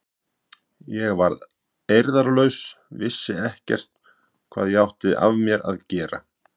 Ég var eirðarlaus, vissi ekkert hvað ég átti af mér að gera.